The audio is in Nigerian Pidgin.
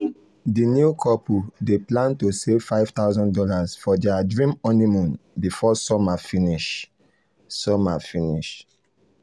the new couple dey plan to save five thousand dollars for their dream honeymoon before summer finish. summer finish.